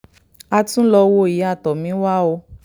a tún lọ́ọ́ wo ìyá tomiwa o